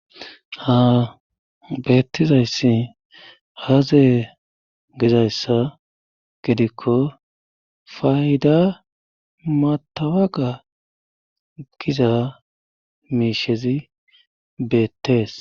Ha beettizayssi aaze gizayssa gidikko fayda matawaga giza miishezi beettees.